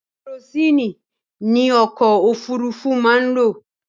Kẹrosíìnì ni ọkọ̀ òfurufú máa ń lò.